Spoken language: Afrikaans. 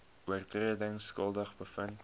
oortredings skuldig bevind